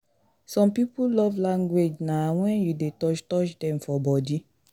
Some pipo love language na when you de touch touch dem for body